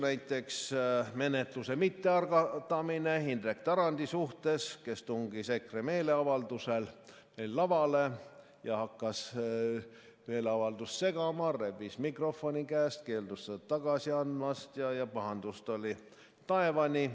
Näiteks menetluse mittealgatamine Indrek Tarandi suhtes, kes tungis EKRE meeleavaldusel lavale ja hakkas meeleavaldust segama, rebis mikrofoni käest, keeldus seda tagasi andmast ja pahandust oli taevani.